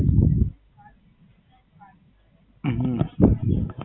હમ